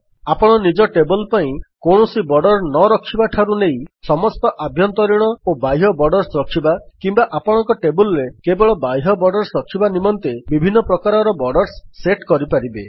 ଆପଣ ନିଜ ଟେବଲ୍ ପାଇଁ କୌଣସି ବର୍ଡର୍ସ ନରଖିବାଠାରୁ ନେଇ ସମସ୍ତ ଆଭ୍ୟନ୍ତରୀଣ ଓ ବାହ୍ୟ ବର୍ଡର୍ସ ରଖିବା କିମ୍ୱା ଆପଣଙ୍କ ଟେବଲ୍ ରେ କେବଳ ବାହ୍ୟ ବର୍ଡର୍ସ ରଖିବା ନିମନ୍ତେ ବିଭିନ୍ନ ପ୍ରକାରର ବୋର୍ଡର୍ସ ସେଟ୍ କରିପାରିବେ